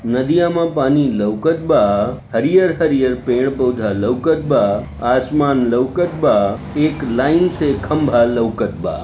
नदिया में पानी लउकत बा हरियर-हरियर पेड़-पौधा लउकत बा आसमान लउकत बा एक लाइन से खम्बा लउकत बा।